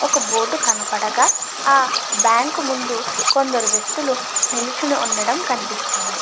ఒక బోర్డు కనపడగా ఆ ఒక బ్యాంకు ముందు కొందరు వ్యక్తులు నిల్చొని ఉండడం కనిపిస్తుంది.